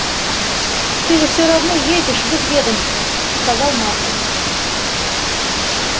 ты же все равно едешь в их ведомство сказал маркин